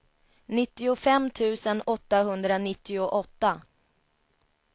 nittiofem tusen åttahundranittioåtta